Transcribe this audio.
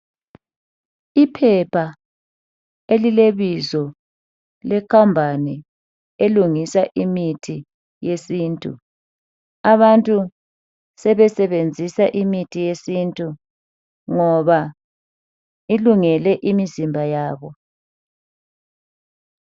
Iphepha elilebizo lekhampani elungisa imithi yesintu abantu sebesebenzisa imithi yesintu ngoba ilungele imizimba yabo.